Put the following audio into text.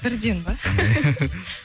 бірден ба